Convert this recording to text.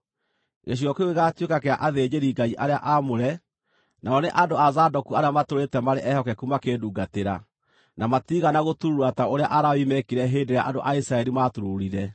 Gĩcigo kĩu gĩgaatuĩka kĩa athĩnjĩri-Ngai arĩa aamũre, nao nĩ andũ a Zadoku arĩa matũũrĩte marĩ ehokeku makĩndungatĩra, na matiigana gũturuura ta ũrĩa Alawii meekire hĩndĩ ĩrĩa andũ a Isiraeli maaturuurire.